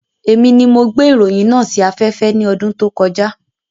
Èmi ni mo gbé ìròyìn náà sí afẹ́fẹ́ ní ọdún tó kọjá